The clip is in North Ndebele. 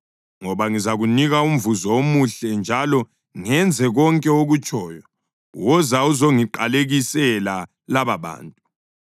ngoba ngizakunika umvuzo omuhle njalo ngenze konke okutshoyo. Woza uzongiqalekisela lababantu.”